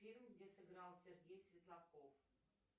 фильм где сыграл сергей светлаков